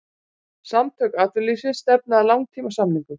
Samtök atvinnulífsins stefna að langtímasamningum